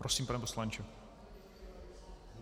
Prosím, pane poslanče.